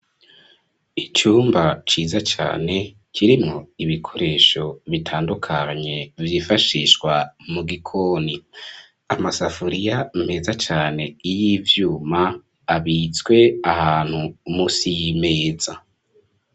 Ic'umba ciza cane, kirimwo ibikoresho bitandukanye, vyifashishwa mu gikoni,, Amasafuriya meza cane, y'ivyuma ,,abitswe ahantu, musi y'Imeza.